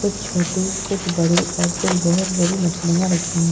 कुछ छोटी कुछ बड़ी और कुछ बहुत बड़ी मछलियां रखी है।